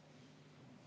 Aitäh!